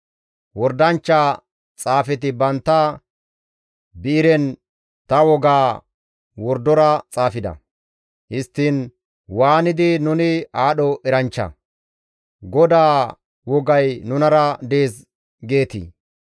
Wordanchcha xaafeti bantta bi7iren ta wogaa wordora xaafida; histtiin waanidi, ‹Nuni aadho eranchcha; GODAA wogay nunara dees› geetii?